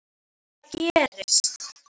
Það bara gerist.